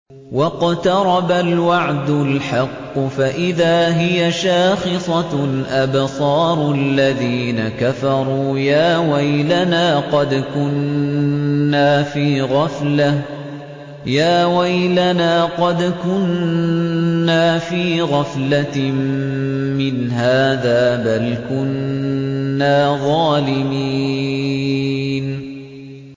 وَاقْتَرَبَ الْوَعْدُ الْحَقُّ فَإِذَا هِيَ شَاخِصَةٌ أَبْصَارُ الَّذِينَ كَفَرُوا يَا وَيْلَنَا قَدْ كُنَّا فِي غَفْلَةٍ مِّنْ هَٰذَا بَلْ كُنَّا ظَالِمِينَ